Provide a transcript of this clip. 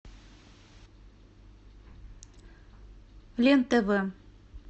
лен тв